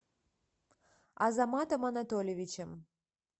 азаматом анатольевичем